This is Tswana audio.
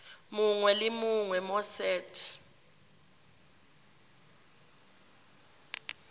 mongwe le mongwe mo set